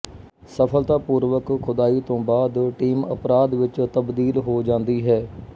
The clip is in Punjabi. ਸਫਲਤਾਪੂਰਵਕ ਖੁਦਾਈ ਤੋਂ ਬਾਅਦ ਟੀਮ ਅਪਰਾਧ ਵਿੱਚ ਤਬਦੀਲ ਹੋ ਜਾਂਦੀ ਹੈ